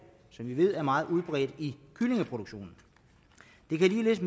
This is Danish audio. som vi ved er meget udbredt i kyllingeproduktionen det kan ligeledes